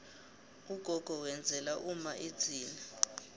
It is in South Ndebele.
ugogo wenzela umma idzila